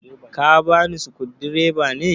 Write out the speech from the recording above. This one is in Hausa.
ka bani sukudireba ne?